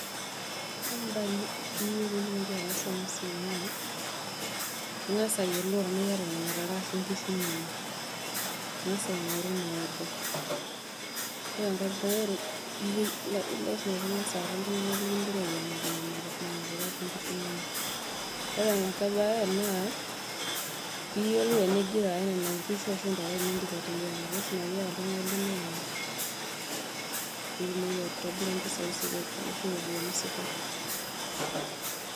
Ore ake mbaa niyieu peitumoki ataasa enasiaai naa ingasa ayiolou tanaa iyata nona tare ashu nkishu niyeng, ingasa aingoru inaorder ore enkai mbae lasima pingasa aata ltunganak liyiangaki nona tare ashu nkishu, ore enkae bae naa piyiolou eningira aya nona kishu ashu ntare teniindip ateyianga ngwapi oltunganak limiraki pitumoki aitobira mpisai sidan oleng ashu ropiyani sidan.